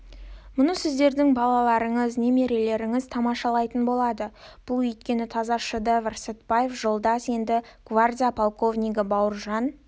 мұны сіздердің балаларыңыз немерелеріңіз тамашалайтын болады бұл өйткені таза шедевр сәтбаев жолдас енді гвардия полковнигі бауыржан